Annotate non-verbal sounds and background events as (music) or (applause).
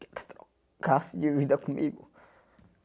(cries) Que ele trocasse de vida comigo.